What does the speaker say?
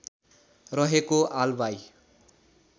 रहेको आलवाई